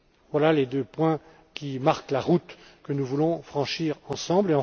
Voilà les deux points qui marquent la route que nous voulons franchir ensemble.